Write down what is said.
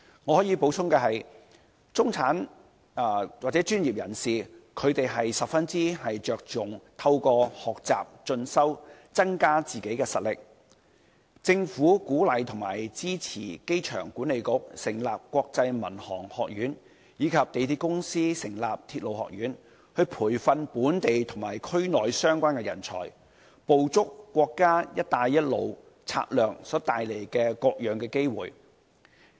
我可以補充的是，中產或專業人士十分着重透過學習和進修，增加實力，政府鼓勵和支持機場管理局成立香港國際航空學院，以及香港鐵路有限公司成立的港鐵學院，培訓本地和區內相關人才，捕捉國家"一帶一路"策略所帶來的各種機會。